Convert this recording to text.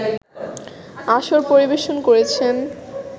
আসর পরিবেশন করেছেন